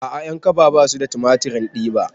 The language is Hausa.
A'a ƴankaba basu da tumatirin diba